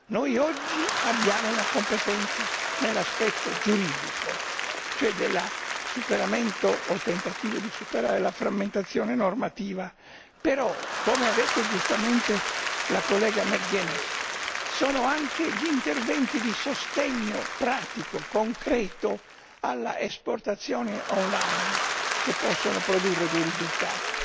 Noi oggi abbiamo una competenza nell'aspetto giuridico, cioè del superamento, o del tentativo di superare, la frammentazione normativa. Però, come ha detto giustamente la collega McGuinness, sono anche gli interventi di sostegno pratico e concreto all'esportazione online che possono produrre dei risultati.